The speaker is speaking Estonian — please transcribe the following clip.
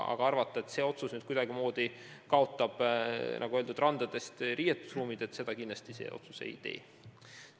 Aga arvata, et see otsus kuidagi likvideerib randades riietuskabiinid – seda kindlasti see otsus ei tee.